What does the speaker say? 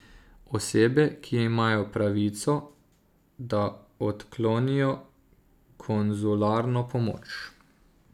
Osebe imajo pravico, da odklonijo konzularno pomoč.